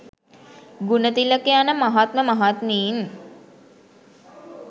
ගුණතිලක යන මහත්ම මහත්මීන්